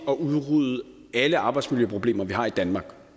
at udrydde alle arbejdsmiljøproblemer vi har i danmark